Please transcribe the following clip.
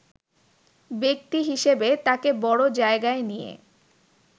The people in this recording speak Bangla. ব্যক্তিহিসেবে তাকে বড় জায়গায় নিয়ে